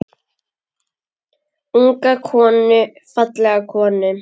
Unga konu, fallega konu.